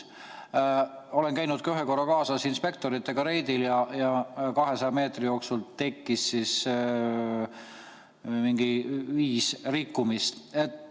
Olen käinud ühe korra kaasas inspektoritega reidil ja 200 meetri jooksul tekkis mingi viis rikkumist.